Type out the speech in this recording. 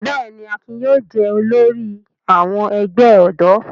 Bẹ́ẹ̀ ni, Akin yóò jẹ olórí àwọn ẹgbẹ́ ọ̀dọ́.